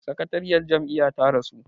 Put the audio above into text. sakatariyar Jam'iyya ta rasu